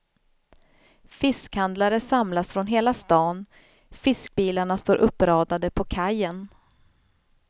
Fiskhandlare samlas från hela stan, fiskbilarna står uppradade på kajen.